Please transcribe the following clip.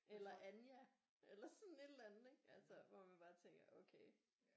Eller Anja eller sådan et eller andet hvor man bare tænker okay